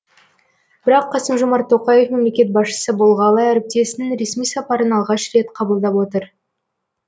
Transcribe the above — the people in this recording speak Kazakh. бірақ қасым жомарт тоқаев мемлекет басшысы болғалы әріптесінің ресми сапарын алғаш рет қабылдап отыр